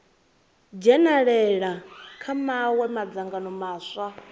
dzhenalela kha mawe madzangano maswa